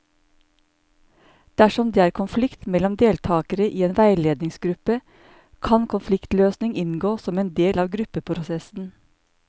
Dersom det er konflikt mellom deltakere i en veiledningsgruppe, kan konfliktløsning inngå som en del av gruppeprosessen.